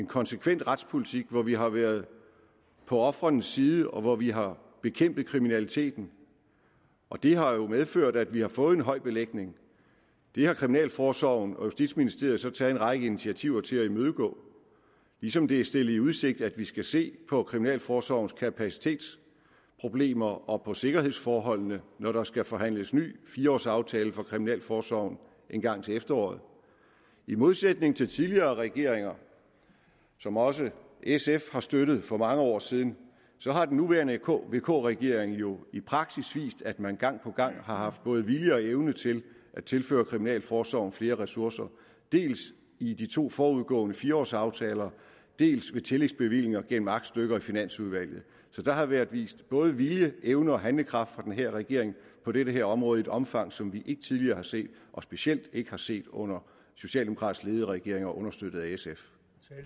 konsekvent retspolitik hvor vi har været på ofrenes side og hvor vi har bekæmpet kriminaliteten og det har jo medført at vi har fået en høj belægning det har kriminalforsorgen og justitsministeriet så taget en række initiativer til for at imødegå ligesom det er stillet i udsigt at vi skal se på kriminalforsorgens kapacitetsproblemer og på sikkerhedsforholdene når der skal forhandles en ny fire års aftale for kriminalforsorgen engang til efteråret i modsætning til tidligere regeringer som også sf har støttet for mange år siden så har den nuværende vk regering jo i praksis vist at man gang på gang har haft både vilje og evne til at tilføre kriminalforsorgen flere ressourcer dels i de to forudgående fire års aftaler dels ved tillægsbevillinger gennem aktstykker i finansudvalget så der har været vist både vilje evne og handlekraft fra den her regerings på det her område i et omfang som vi ikke tidligere har set og specielt ikke har set under socialdemokratisk ledede regeringer understøttet af sf